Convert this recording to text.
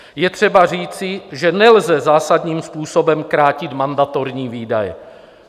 Je třeba říci, že nelze zásadním způsobem krátit mandatorní výdaje.